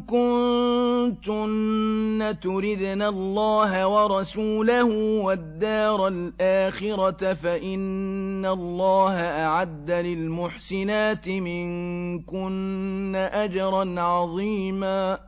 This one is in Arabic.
كُنتُنَّ تُرِدْنَ اللَّهَ وَرَسُولَهُ وَالدَّارَ الْآخِرَةَ فَإِنَّ اللَّهَ أَعَدَّ لِلْمُحْسِنَاتِ مِنكُنَّ أَجْرًا عَظِيمًا